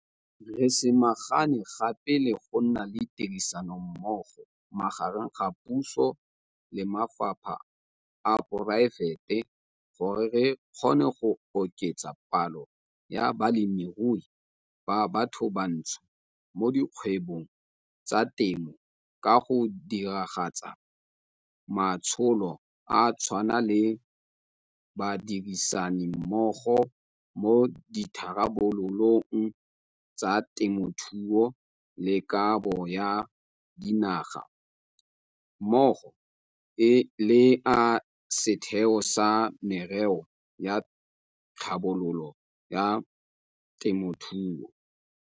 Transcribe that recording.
Re samagane gape le go nna le tirisanommogo magareng ga puso le maphata a poraefete gore re kgone go oketsa palo ya balemirui ba bathobantsho mo dikgwebong tsa temo ka go diragatsa matsholo a tshwana le Badirisanimmogo mo Ditharabololong tsa Temothuo le Kabo ya Dinaga mmogo le a Setheo sa Merero ya Tlhabololo ya Temothuo.